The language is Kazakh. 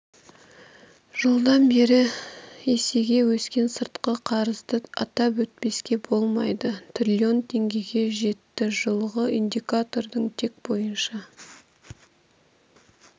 жылдан бері есеге өскен сыртқы қарызды атап өтпеске болмайды трлн теңгеге жетті жылғы индикатордың тек бойынша